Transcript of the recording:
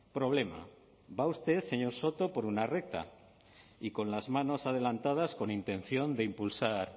problema va a usted señor soto por una recta y con las manos adelantadas con intención de impulsar